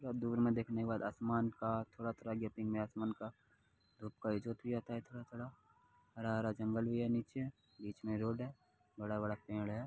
और दूर में देखने के बाद आसमान का थोड़ा-थोड़ा है आसमान का थोडा-थोड़ा हरा-हरा जंगल भी है नीचे बीच में रोड है बड़ा-बड़ा पेड़ है।